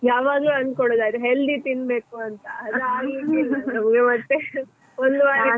ಯಾವಾಗ್ಲೂ ಅನ್ಕೋಳುದು ಅದು healthy ತಿನ್ಬೇಕು ಅಂತ ಅದ್ ಆಗ್ಲಿಕ್ಕಿಲ್ಲ ನಮ್ಗೆ ಮತ್ತೆ .